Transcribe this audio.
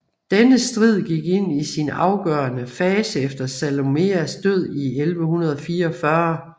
Denne strid gik ind i sin afgørende fase efter Salomeas død i 1144